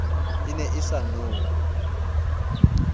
e ne e sa nowe